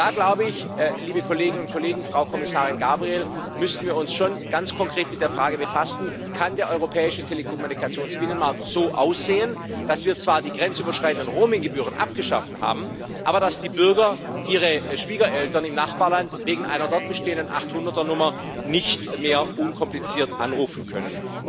Da glaube ich, Frau Kommissarin Gabriel, müssen wir uns schon ganz konkret mit der Frage befassen Kann der europäische Telekommunikationsbinnenmarkt so aussehen, dass wir zwar die grenzüberschreitenden Roaming Gebühren abgeschafft haben, aber dass die Bürger ihre Schwiegereltern im Nachbarland wegen einer dort bestehenden 0800er Nummer nicht mehr unkompliziert anrufen können?